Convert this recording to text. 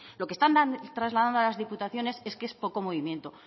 lo que están trasladando a las diputaciones es que es poco movimiento